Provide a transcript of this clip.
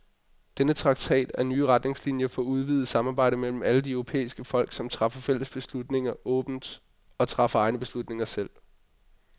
Denne traktat er nye retningslinier for udvidet samarbejde mellem alle de europæiske folk, som træffer fælles beslutninger åbent og træffer egne beslutninger selv.